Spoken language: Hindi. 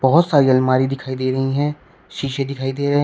बहोत सारी अलमारी दिखाई दे रही है शीशे दिखाई दे रहे--